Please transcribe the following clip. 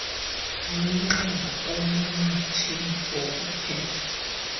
nomnxeba onomatshini wokuthetha